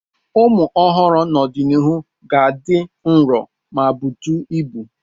Ụmụ ọhụrụ n'ọdịnihu ka ga-adị nro ma butu ibu.